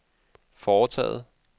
foretaget